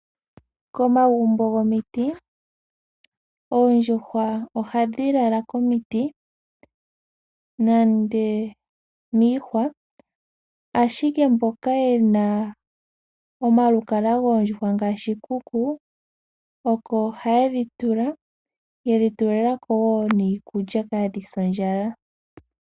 Komagumbo gomiti oondjuhwa ohadhi lala komiti nenge miihwa, ashike mboka ye na omalukalwa goondjuhwa ngaashi iikuku oko haye dhi tula ye dhi tulila ko woo niikulya kaadhi se ondjala.